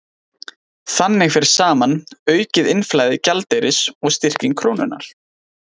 Þannig fer saman aukið innflæði gjaldeyris og styrking krónunnar.